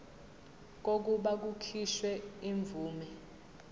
kokuba kukhishwe imvume